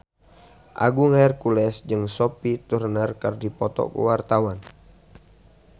Agung Hercules jeung Sophie Turner keur dipoto ku wartawan